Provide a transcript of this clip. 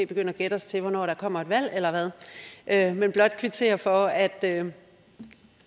begynde at gætte os til hvornår der kommer et valg eller hvad jeg vil blot kvittere for at